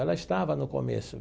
Ela estava no começo.